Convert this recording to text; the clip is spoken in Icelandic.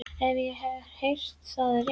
Ef ég hef heyrt það rétt.